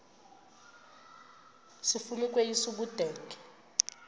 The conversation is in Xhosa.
sifuna ukweyis ubudenge